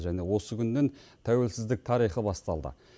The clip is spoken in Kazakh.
және осы күннен тәуелсіздік тарихы басталды